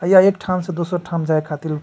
या एक ठाम से दोसर ठाम जाय के खातिर --